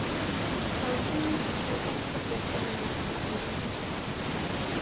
Það var hún sem alltaf þurfti að vera að eiga þessa krakka.